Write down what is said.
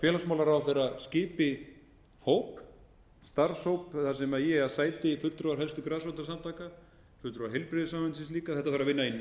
félagsmálaráðherra skipi starfshóp þar sem í eiga sæti fulltrúar helstu grasrótarsamtaka fulltrúar heilbrigðisráðuneytisins líka þetta þarf að vinna í nánu samráði við